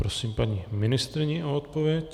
Prosím paní ministryni o odpověď.